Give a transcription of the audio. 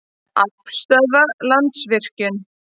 Aflstöðvar- Landsvirkjun.